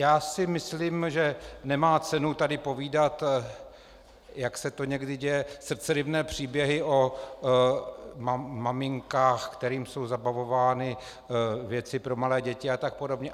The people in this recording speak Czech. Já si myslím, že nemá cenu tady povídat, jak se to někdy děje, srdceryvné příběhy o maminkách, kterým jsou zabavovány věci pro malé děti a tak podobně.